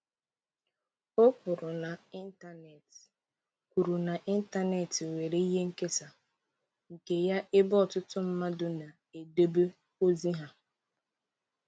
O kwuru na ịntanetị kwuru na ịntanetị nwere ihe nkesa nke ya ebe ọtụtụ mmadụ na-edobe ozi ha.